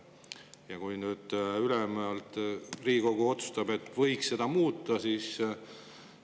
Ja kui nüüd Riigikogu otsustab, et võiks muuta, siis …